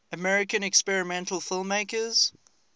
american experimental filmmakers